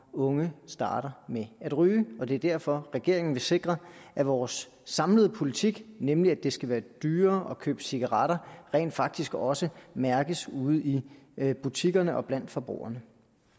unge starter med at ryge og det er derfor regeringen vil sikre at vores samlede politik nemlig at det skal være dyrere at købe cigaretter rent faktisk også mærkes ude i butikkerne og blandt forbrugerne